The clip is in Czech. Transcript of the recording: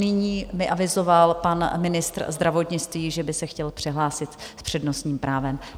Nyní mi avizoval pan ministr zdravotnictví, že by se chtěl přihlásit s přednostním právem.